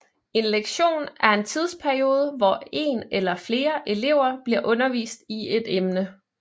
En lektion er en tidsperiode hvor en eller flere elever bliver undervist i et emne